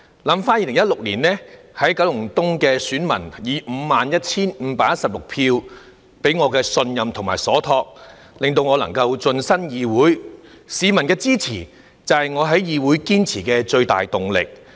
想起在2016年，九龍東的選民以 51,516 票託付給我的信任，令我能夠晉身議會，市民的支持就是我在議會堅持的最大動力。